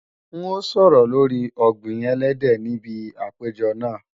N ó sọ̀rọ̀ lóri ọ̀gbìn ẹlẹ́dẹ̀ níbi àpèjọ náà